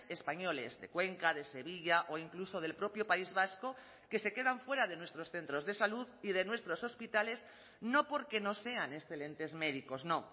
españoles de cuenca de sevilla o incluso del propio país vasco que se quedan fuera de nuestros centros de salud y de nuestros hospitales no porque no sean excelentes médicos no